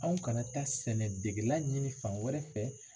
Anw kana taa sɛnɛ degela ɲini fan wɛrɛ fɛ.